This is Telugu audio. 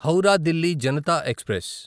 హౌరా దిల్లీ జనతా ఎక్స్ప్రెస్